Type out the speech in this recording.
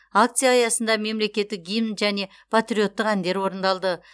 акция аясында мемлекеттік гимн және патриоттық әндер орындалды